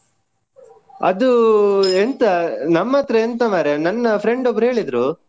ಅದು ಎಂಥ ನಮ್ಮ್ ಹತ್ರ ಎಂತ ಮಾರಯಾ. ನನ್ನ friend ಒಬ್ರು ಹೇಳಿದ್ರು.